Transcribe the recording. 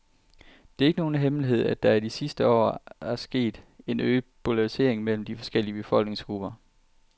Det er ikke nogen hemmelighed, at der i de sidste år er sket en øget polarisering mellem forskellige befolkningsgrupper.